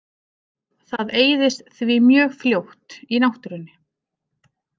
Það eyðist því mjög fljótt í náttúrunni.